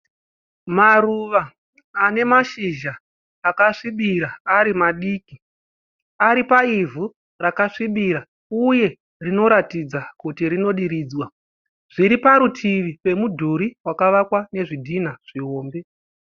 Maruva anemashizha akasvibira ari madiki. Ari paivhu rakasvibira uye rinoratidza kuti rinodiridzwa. Zviri parutivi pemudhuri wakavakwa nezvidhina zvihombe.